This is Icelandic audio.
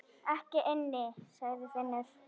Ekki inni, sagði Finnur.